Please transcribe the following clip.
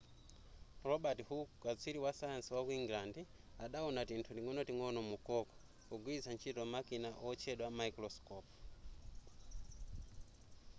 robert hooke katswiri wasayansi waku england adawona tinthu ting'onoting'ono mu cork pogwilitsa ntchito makina otchedwa maikulosikopu